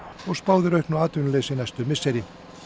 spáð er auknu atvinnuleysi næstu misseri